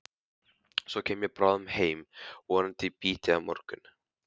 Svo kem ég bráðum heim, vonandi í bítið á morgun.